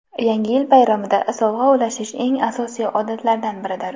Yangi yil bayramida sovg‘a ulashish eng asosiy odatlardan biridir.